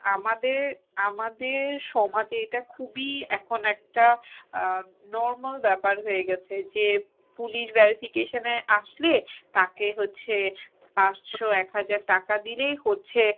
আমাদের~ আমাদের সমাজে এটা খুবই এখন একটা আহ normal ব্যাপার হয়েগেছে যে police verification এ আসলে তাকে হচ্ছে পাঁচশো এক হাজার টাকা দিলেই হচ্ছে